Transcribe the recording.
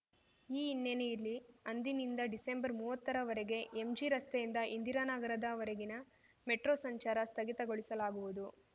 ಈ ಹಿನ್ನೆಲೆಯಲ್ಲಿ ಅಂದಿನಿಂದ ಡಿಸೆಂಬರ್ಮುವತ್ತರವರೆಗೆ ಎಂಜಿರಸ್ತೆಯಿಂದ ಇಂದಿರಾನಗರದ ವರೆಗಿನ ಮೆಟ್ರೋ ಸಂಚಾರ ಸ್ಥಗಿತಗೊಳಿಸಲಾಗುವುದು